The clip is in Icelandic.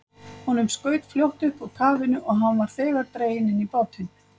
Honum skaut fljótt upp úr kafinu, og var hann þegar dreginn inn í bátinn.